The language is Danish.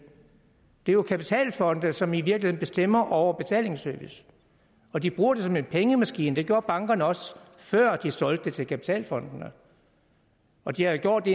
er jo kapitalfonde som i virkeligen bestemmer over betalingsservice og de bruger det som en pengemaskine det gjorde bankerne også før de solgte det til kapitalfondene og de havde gjort